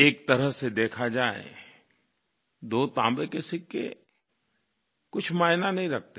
एक तरह से देखा जाए दो तांबे के सिक्के कुछ मायने नहीं रखते